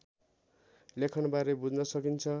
लेखनबारे बुझ्न सकिन्छ